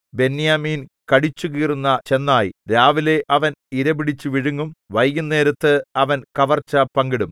ബെന്യാമീൻ കടിച്ചുകീറുന്ന ചെന്നായ് രാവിലേ അവൻ ഇരപിടിച്ചു വിഴുങ്ങും വൈകുന്നേരത്ത് അവൻ കവർച്ച പങ്കിടും